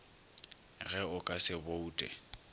ge o ka se boute